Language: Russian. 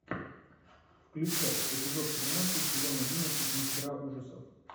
включай эпизод тринадцать сезон одиннадцать мастера ужасов